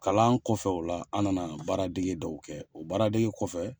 Kalan kɔfɛ o la an na na baaradege dɔw kɛ o baaradege kɔfɛ